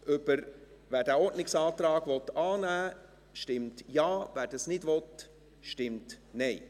Wer den Ordnungsantrag annehmen will, stimmt Ja, wer das nicht will, stimmt Nein.